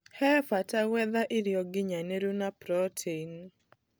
He bata gwetha irio nginyanĩru na proteini.